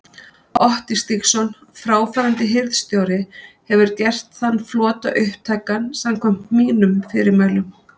Otti Stígsson, fráfarandi hirðstjóri hefur gert þann flota upptækan samkvæmt mínum fyrirmælum.